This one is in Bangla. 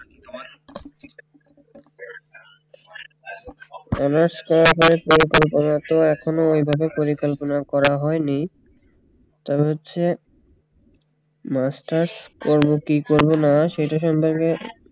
এখন তো ওইভাবে পরিকল্পনা করা হয়নি তবে হচ্ছে masters করব কি করব না সেইটার সম্পর্কে